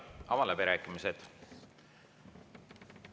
Avan läbirääkimised.